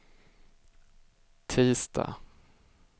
tisdag